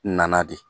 Na de